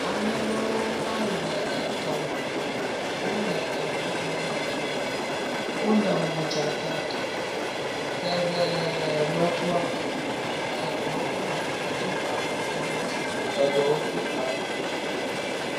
Ame aɖewo va yi le etɔme, wole eŋiŋlem le tɔme, geɖe medo awu o. Wole modzaka ɖem, geɖe medo awu o eɖewo hã wodo awu ʋe ɖe dziƒo eye eɖewo do awu yibɔ.